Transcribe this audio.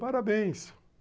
Parabéns.